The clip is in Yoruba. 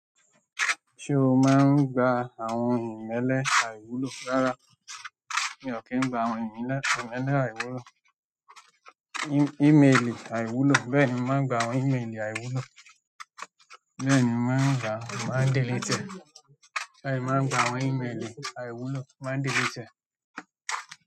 Ṣé o máa ń gba àwọn ìmélẹ àìwúlò rárá? Mi ò kí ń gba àwọn ìmélẹ àìwúlò. Imeli àìwúlò, bẹ́ẹ̀ ni, mo máa ń gba àwọn ìmélì àìwúlò. Bẹ́ẹ̀ ni, mo máa ń gbà á, mo máa ń delete ẹ. Bẹ́ẹ̀ ni, máa ń gba àwọn ìmélì àìwúlò, máa ń delete ẹ.